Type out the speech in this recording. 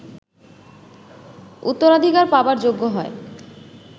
উত্তরাধিকার পাবার যোগ্য হয়